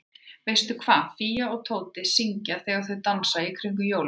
Veistu hvað Fía og Tóti syngja þegar þau dansa í kringum jólatréð?